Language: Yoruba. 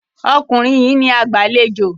Ọkùnrin yìí ní agbàlejò